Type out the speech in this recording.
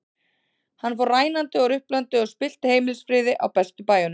Hann fór rænandi og ruplandi og spillti heimilisfriði á bestu bæjum.